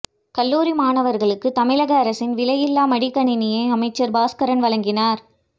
கல்லூரி மாணவர்களுக்கு தமிழக அரசின் விலையில்லா மடிக்கணினியை அமைச்சர் பாஸ்கரன் வழங்கினார்